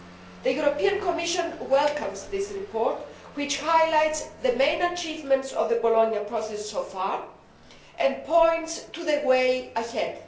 The European Commission welcomes this report, which highlights the main achievements of the Bologna process so far and points to the way ahead.